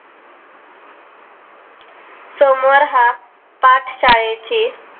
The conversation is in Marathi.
सोमवार हा पाठशाळेची